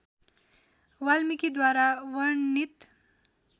वाल्मीकि द्वारा वर्णित